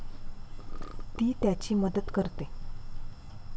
ती त्याची मदत करते.